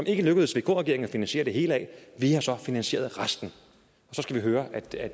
ikke lykkedes vk regeringen at finansiere det hele af vi har så finansieret resten og så skal vi høre at det er